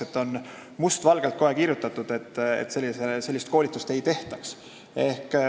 " Nii et on must valgel kirjas, et sellist koolitust ei tehta.